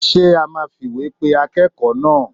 Ṣé a máa fìwé pe akẹ́kọ̀ọ́ náà?